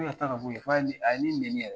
Ne ka taa ka bo yen . F'a ye , a ye ne nɛni yɛrɛ.